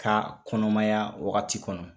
Ka kɔnɔmaya wagati kɔnɔ.